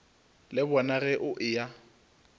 le bona ge o eya